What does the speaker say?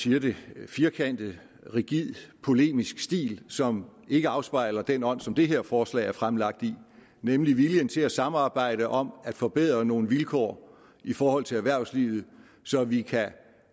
siger det firkantet rigid polemisk stil som ikke afspejler den ånd som det her forslag er fremsat i nemlig viljen til at samarbejde om at forbedre nogle vilkår i forhold til erhvervslivet så vi kan